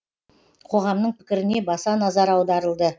қоғамның пікіріне баса назар аударылды